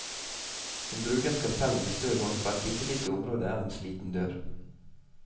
Hun bruker skalpellen med stø hånd på et bittelite område av en sliten dør.